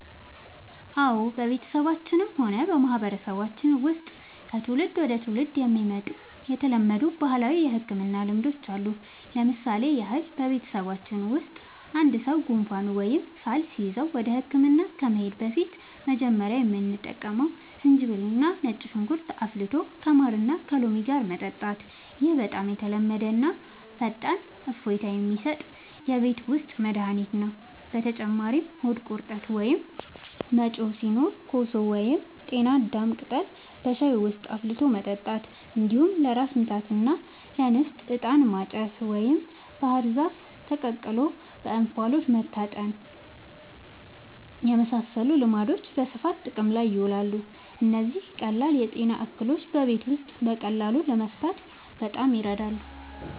አዎ፣ በቤተሰባችንም ሆነ በማህበረሰባችን ውስጥ ከትውልድ ወደ ትውልድ የመጡ የተለመዱ ባህላዊ የሕክምና ልማዶች አሉ። ለምሳሌ ያህል፣ በቤተሰባችን ውስጥ አንድ ሰው ጉንፋን ወይም ሳል ሲይዘው ወደ ሕክምና ከመሄዳችን በፊት መጀመሪያ የምንጠቀመው ዝንጅብልና ነጭ ሽንኩርት አፍልቶ ከማርና ከሎሚ ጋር መጠጣት ነው። ይህ በጣም የተለመደና ፈጣን እፎይታ የሚሰጥ የቤት ውስጥ መድኃኒት ነው። በተጨማሪም ሆድ ቁርጠት ወይም መጮህ ሲኖር ኮሶ ወይም የጤና አዳም ቅጠል በሻይ ውስጥ አፍልቶ መጠጣት፣ እንዲሁም ለራስ ምታትና ለንፍጥ «ዕጣን ማጨስ» ወይም ባህር ዛፍ ተቀቅሎ በእንፋሎት መታጠንን (ታይም ማድረስ) የመሳሰሉ ልማዶች በስፋት ጥቅም ላይ ይውላሉ። እነዚህ ቀላል የጤና እክሎችን በቤት ውስጥ በቀላሉ ለመፍታት በጣም ይረዳሉ።